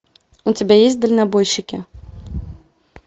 у тебя есть дальнобойщики